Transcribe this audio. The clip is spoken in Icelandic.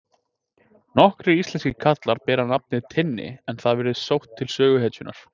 Nokkrir íslenskir karlar bera nafnið Tinni en það virðist sótt til söguhetjunnar.